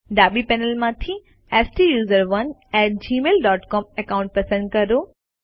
ડાબી પેનલમાંથી STUSERONEgmail dot com account પસંદ કરો